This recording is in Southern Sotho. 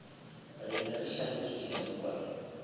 ne re hlaselwa ke dinokwane